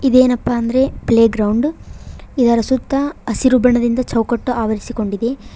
ಇದೇನಪ್ಪ ಅಂದ್ರೆ playground ಇದರ ಸುತ್ತ ಹಸಿರು ಬಣ್ಣದಿಂದ ಚೌಕಟ್ಟು ಆವರಿಸಿಕೊಂಡಿದೆ.